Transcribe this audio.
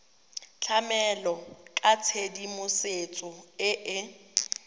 tlamela ka tshedimosetso e e